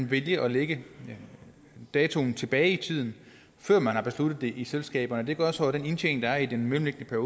vælge at lægge datoen tilbage i tiden før man har besluttet det i selskaberne og det gør så at den indtjening der er i den mellemliggende